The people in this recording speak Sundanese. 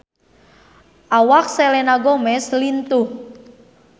Awak Selena Gomez lintuh